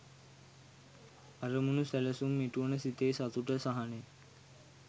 අරමුණු සැලසුම් ඉටුවන සිතේ සතුට සහනය